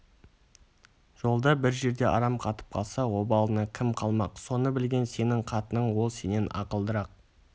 жолда бір жерде арам қатып қалса обалына кім қалмақ соны білген сенің қатының ол сенен ақылдырақ